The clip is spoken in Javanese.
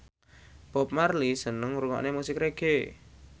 Bob Marley seneng ngrungokne musik reggae